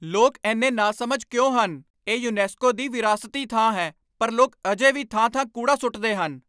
ਲੋਕ ਇੰਨੇ ਨਾਸਮਝ ਕਿਉਂ ਹਨ? ਇਹ ਯੂਨੈਸਕੋ ਦੀ ਵਿਰਾਸਤੀ ਥਾਂ ਹੈ ਪਰ ਲੋਕ ਅਜੇ ਵੀ ਥਾਂ ਥਾਂ ਕੂੜਾ ਸੁੱਟਦੇ ਹਨ